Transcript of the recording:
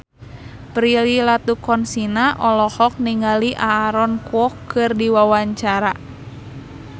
Prilly Latuconsina olohok ningali Aaron Kwok keur diwawancara